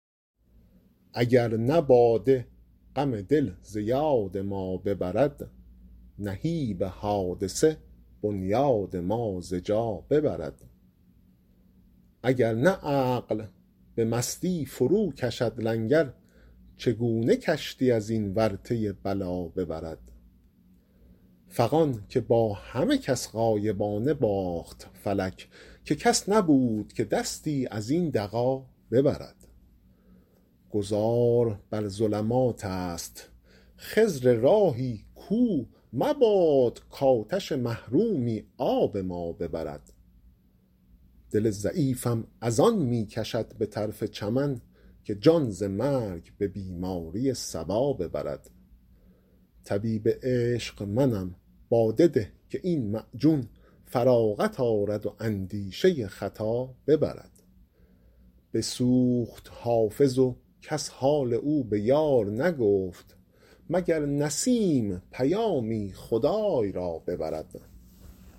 اگر نه باده غم دل ز یاد ما ببرد نهیب حادثه بنیاد ما ز جا ببرد اگر نه عقل به مستی فروکشد لنگر چگونه کشتی از این ورطه بلا ببرد فغان که با همه کس غایبانه باخت فلک که کس نبود که دستی از این دغا ببرد گذار بر ظلمات است خضر راهی کو مباد کآتش محرومی آب ما ببرد دل ضعیفم از آن می کشد به طرف چمن که جان ز مرگ به بیماری صبا ببرد طبیب عشق منم باده ده که این معجون فراغت آرد و اندیشه خطا ببرد بسوخت حافظ و کس حال او به یار نگفت مگر نسیم پیامی خدای را ببرد